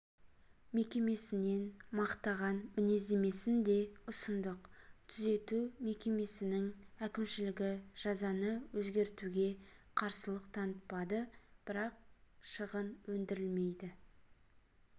мекемесінен мақтаған мінездемесін де ұсындық түзету мекемесінің әкімшілігі жазаны өзгертуге қарсылық танытпады бірақ шығын өндірілмеді